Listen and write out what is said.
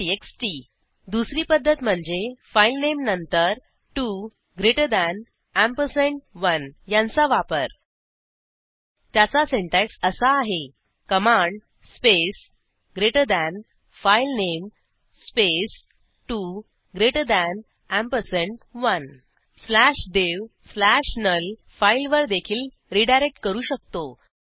TXT दुसरी पध्दत म्हणजे फाईलनेम नंतर 2 ग्रेटर थान एम्परसँड 1 यांचा वापर त्याचा सिंटॅक्स असा आहे command space greater than filename space 2 greater than ampersand 1 slash dev slash null devनुल फाईलवर देखील रीडायरेक्ट करू शकतो